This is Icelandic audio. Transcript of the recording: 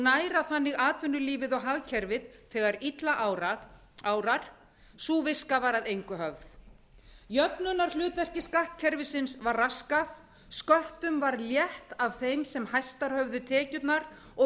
næra þannig atvinnulífið og hagkerfið þegar illa árar sú viska var að engu höfð jöfnunarhlutverki skattkerfisins var raskað sköttum var létt af þeim sem hæstar höfðu tekjurnar og